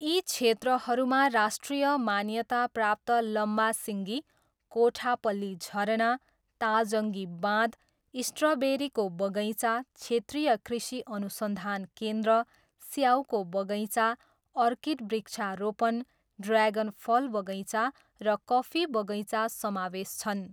यी क्षेत्रहरूमा राष्ट्रिय मान्यता प्राप्त लम्मासिङ्गी, कोठापल्ली झरना, ताजङ्गी बाँध, स्ट्रबेरीको बगैँचा, क्षेत्रीय कृषि अनुसन्धान केन्द्र, स्याउको बगैँचा, अर्किड वृक्षारोपण, ड्र्यागन फल बगैँचा र कफी बगैँचा समावेश छन्।